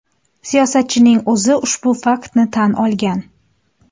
Siyosatchining o‘zi ushbu faktni tan olgan.